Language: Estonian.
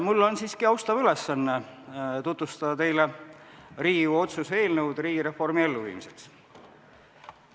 Mul on siiski austav ülesanne tutvustada teile Riigikogu otsuse eelnõu "Riigireformi elluviimisest".